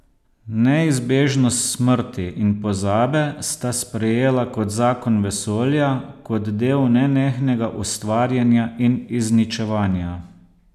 Neizbežnost smrti in pozabe sta sprejela kot zakon vesolja, kot del nenehnega ustvarjanja in izničevanja.